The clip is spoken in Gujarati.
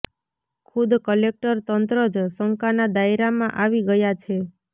ખુદ કલેકટર તંત્ર જ શંકાના દાયરામાં આવી ગયા છે